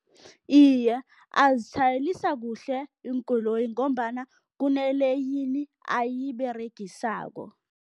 Iye, azitjhayelisa kuhle iinkoloyi ngombana kuneleyini ayiberegisako.